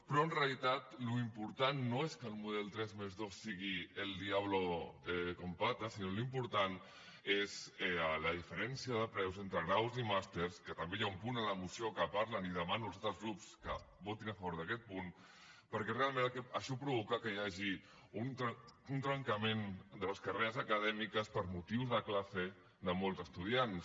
però en realitat l’important no és que el model tres+dos sigui el diablo con patas sinó que l’important és la diferència de preus entre graus i màsters que també hi ha un punt a la moció que en parlen i demano als altres grups que votin a favor d’aquest punt perquè realment això provoca que hi hagi un trencament de les carreres acadèmiques per motius de classe de molts estudiants